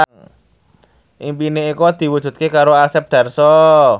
impine Eko diwujudke karo Asep Darso